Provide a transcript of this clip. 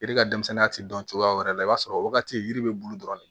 Yiri ka denmisɛnninya tɛ dɔn cogoya wɛrɛ la i b'a sɔrɔ o wagati yiri bɛ bulu dɔrɔn de